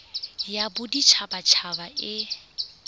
ya bodit habat haba e